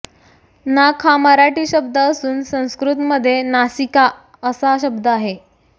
नाक हा मराठी शब्द असून संस्कृत मध्ये नासिका असा शब्द आहे